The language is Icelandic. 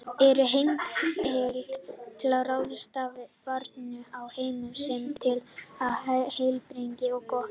Er heimilt að ráðstafa barninu á heimili sem talið er heilbrigt og gott?